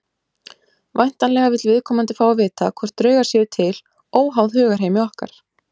Væntanlega vill viðkomandi fá að vita hvort draugar séu til óháð hugarheimi okkar.